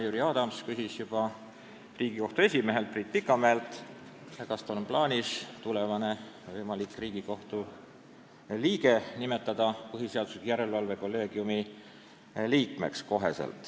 Jüri Adams küsis Riigikohtu esimehelt Priit Pikamäelt, kas tal on plaanis tulevane võimalik Riigikohtu liige kohe nimetada põhiseaduslikkuse järelevalve kolleegiumi liikmeks.